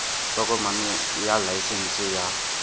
tokomane ya laesense ya s